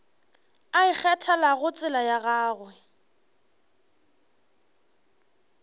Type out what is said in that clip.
a ikgethelago tsela ya gagwe